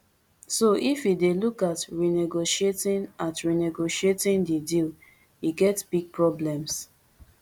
so if e dey look at renegotiating at renegotiating di deal e get big problems